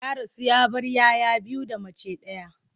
Ya rasu ya bar 'ya 'ya biyu da mace ɗaya.